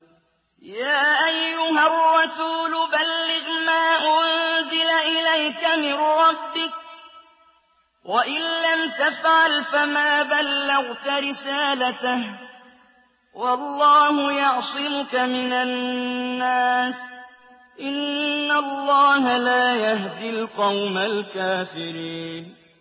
۞ يَا أَيُّهَا الرَّسُولُ بَلِّغْ مَا أُنزِلَ إِلَيْكَ مِن رَّبِّكَ ۖ وَإِن لَّمْ تَفْعَلْ فَمَا بَلَّغْتَ رِسَالَتَهُ ۚ وَاللَّهُ يَعْصِمُكَ مِنَ النَّاسِ ۗ إِنَّ اللَّهَ لَا يَهْدِي الْقَوْمَ الْكَافِرِينَ